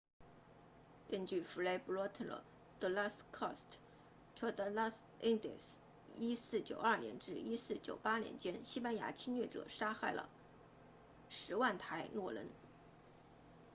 根据《fray bartolomé de las casas》tratado de las indias1492 年至1498年间西班牙侵略者杀害了约 100,000 台诺人